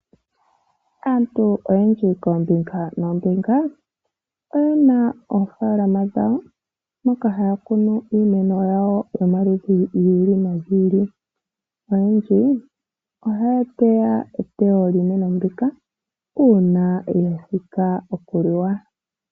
Aantu oyendji koombinga noombinga oyena oofaalama dhawo moka haya kunu iimeno yawo yomaludhi giili nogiili . Oyendji ohaya teya etewo lyiimeno mbika uuna yathika okuliwa.